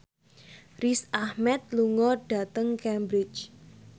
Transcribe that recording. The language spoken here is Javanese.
Riz Ahmed lunga dhateng Cambridge